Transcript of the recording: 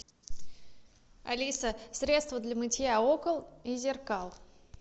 алиса средство для мытья окон и зеркал